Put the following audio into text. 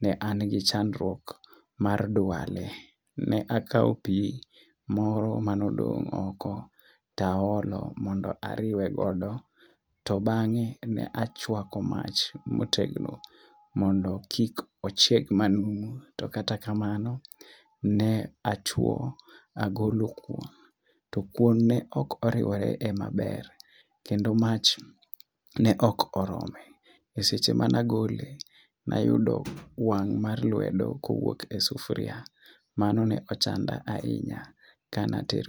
ne an gi chandruok mar dwale. Ne akawo pi moro mane odong' oko mondo ariwe godo. To bang'e ne achwako mach motegno mondo kik ochieg manumu, to kata kamano ne achwe agolo kuon. To kuon ne ok oriwore maber kendo mach ne ok orome. Eseche mane agole, ne ayudo wang' mar lwedo kowuok e sufuria. Mano ne ochanda ahinya kane atero